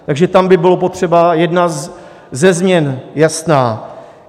Takže tam by bylo potřeba - jedna ze změn jasná.